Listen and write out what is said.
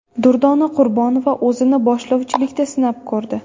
Durdona Qurbonova o‘zini boshlovchilikda sinab ko‘rdi.